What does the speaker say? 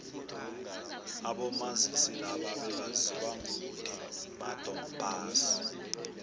abomazisi laba bebaziwa ngokuthi madom pass